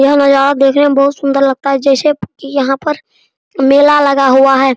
यह नज़ारा देखने में बहुत सुन्दर लगता है जैसे यहाँ पर मेला लगा हुआ है।